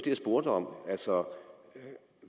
jeg spurgte om